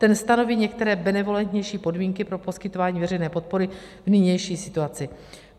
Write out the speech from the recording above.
Ten stanoví některé benevolentnější podmínky pro poskytování veřejné podpory v nynější situaci.